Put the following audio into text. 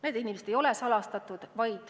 Need inimesed ei ole salastatud.